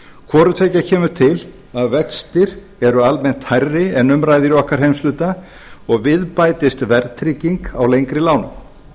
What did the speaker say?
hvorutveggja kemur til að vextir eru almennt hærri en um ræðir í okkar heimshluta og við bætist verðtrygging á lengri lán